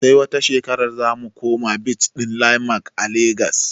Sai wata shekarar zamu koma beach ɗin landmark a legas